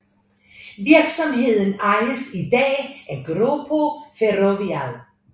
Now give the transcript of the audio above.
Virksomheden ejes i dag af Grupo Ferrovial